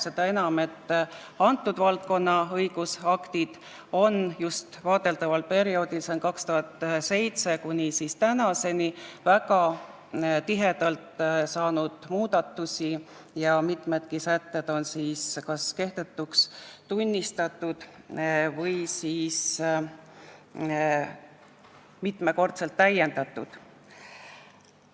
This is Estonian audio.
Seda enam, et valdkonna õigusaktides on just vaadeldaval perioodil, aastast 2007 kuni tänaseni, väga tihedalt tehtud muudatusi ja mitmedki sätted on kas kehtetuks tunnistatud või on neid mitu korda täiendatud.